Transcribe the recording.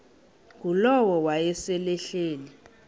ngulowo wayesel ehleli